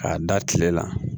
K'a da tile la